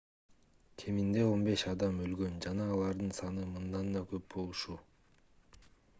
кеминде 15 адам өлгөн жана алардын саны мындан да көп болушу